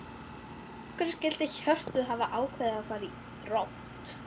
Af hverju skyldi Hjörtur hafa ákveðið að fara í Þrótt?